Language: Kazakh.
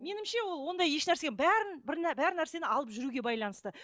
меніңше ол ондай ешнәрсе бәрін бар нәрсені алып жүруге байланысты